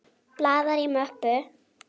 Blaðar í möppu.